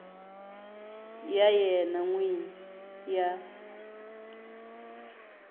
ya yena n wini ya